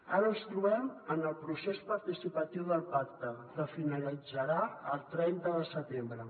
ara ens trobem en el procés participatiu del pacte que finalitzarà el trenta de setembre